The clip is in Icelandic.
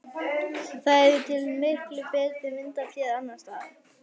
Það er til miklu betri mynd af þér annars staðar.